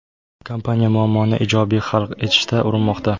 Kompaniya muammoni ijobiy hal etishga urinmoqda.